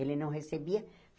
Ele não recebia.